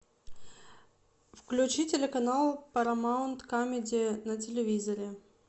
включи телеканал парамаунт камеди на телевизоре